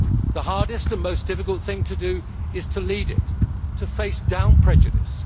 The hardest and most difficult thing to do is to lead it and to face down prejudice.